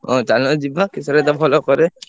ହଁ ଚାଲୁନ ଯିବା କିଶୋର ଭାଇ ତ ଭଲ କରେ।